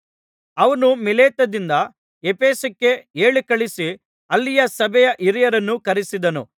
ಅವನು ಮಿಲೇತದಿಂದ ಎಫೆಸಕ್ಕೆ ಹೇಳಿಕಳುಹಿಸಿ ಅಲ್ಲಿಯ ಸಭೆಯ ಹಿರಿಯರನ್ನು ಕರಿಸಿದನು